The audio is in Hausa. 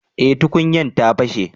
eh tukunyan ta fashe